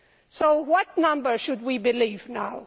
So which number should we believe now?